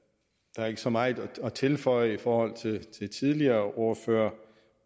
der er ikke så meget at tilføje i forhold til de tidligere ordførere